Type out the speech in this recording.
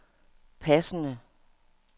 passende